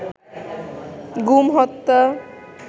গুম হত্যা